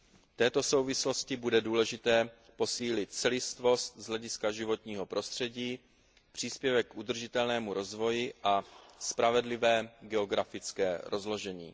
V této souvislosti bude důležité posílit celistvost z hlediska životního prostředí, příspěvek k udržitelnému rozvoji a spravedlivé geografické rozložení.